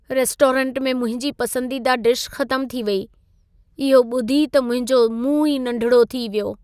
Restaurant में मुंहिंजी पसंदीदा डिश ख़तमु थी वेई। इहो ॿुधी त मुंहिंजो मुंहं ई नंढिड़ो थी वियो।